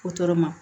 ma